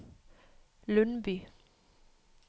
Lundby